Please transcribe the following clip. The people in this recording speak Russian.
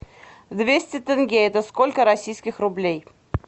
двести тенге это сколько российских рублей